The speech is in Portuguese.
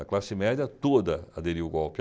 A classe média toda aderiu o golpe.